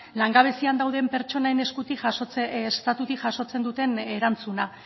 langabezian dauden pertsonen eskutik estatutik jasotzen duten erantzuna